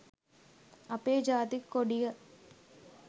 අපේ ජාතික කොඩිය